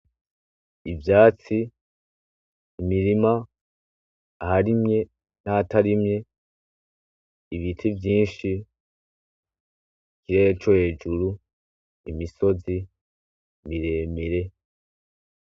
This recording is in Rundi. Ivyatsi, imirima, aharimye n'ahatarimye, ibiti vyinshi, ikirere co hejuru, imisozi miremire.